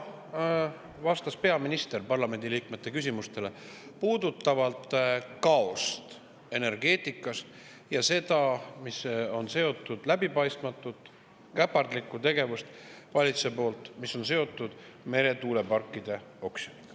Täna vastas peaminister parlamendi liikmete küsimustele, mis puudutasid kaost energeetikas ja seda, mis on seotud valitsuse läbipaistmatu käpardliku tegevusega meretuuleparkide oksjoni puhul.